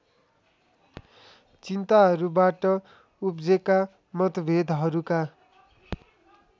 चिन्ताहरूबाट उब्जेका मतभेदहरूका